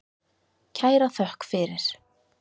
Kæra þökk fyrir.